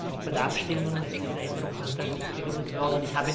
Auch bei der Abstimmung ist dieser Änderungsantrag nicht begründet worden.